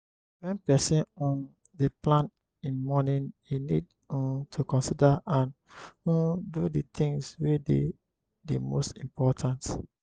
when person um dey plan im morning e need um to consider and um do di things wey dey di most important